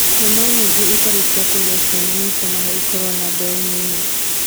Nyamũ nyingĩ itarĩ cia kũgĩa ciana nĩ itũmaga ikorũo na mbeũ nini